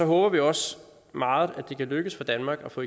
håber vi også meget at det kan lykkes for danmark at få